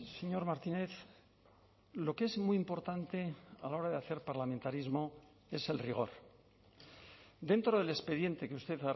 señor martínez lo que es muy importante a la hora de hacer parlamentarismo es el rigor dentro del expediente que usted